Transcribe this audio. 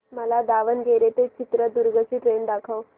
मला दावणगेरे ते चित्रदुर्ग ची ट्रेन दाखव